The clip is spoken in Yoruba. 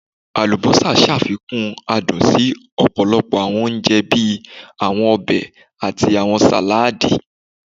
Alubosa ṣafikun adun si ọpọlọpọ awọn ounjẹ bii awọn ọbẹ ati awọn saladi